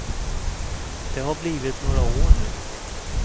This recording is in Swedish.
Det har blivit några år nu.